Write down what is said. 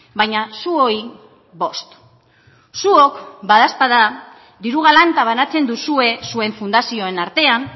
baina zuoi bost zuok badaezpada diru galanta banatzen duzue zuen fundazioen artean